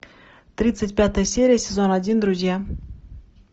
тридцать пятая серия сезон один друзья